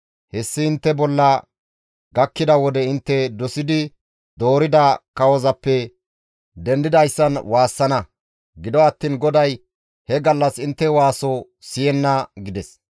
Hessi intte bolla gakkida wode intte dosidi doorida kawozappe dendidayssan waassana. Gido attiin GODAY he gallas intte waaso siyenna» gides.